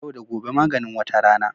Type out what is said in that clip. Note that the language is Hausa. Yau da gobe maganin wata rana